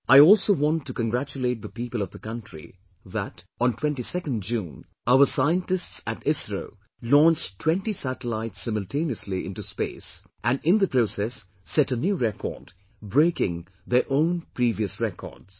I also want to congratulate the people of the country that on 22nd June, our scientists at ISRO launched 20 satellites simultaneously into space, and in the process set a new record, breaking their own previous records